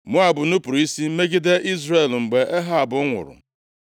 Moab nupuru isi megide Izrel mgbe Ehab nwụrụ.